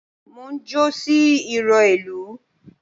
Mo njó sí ìró ìlù